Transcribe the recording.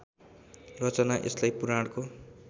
रचना यसलाई पुराणको